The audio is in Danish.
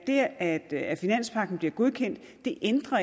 at det at finanspagten bliver godkendt ikke ændrer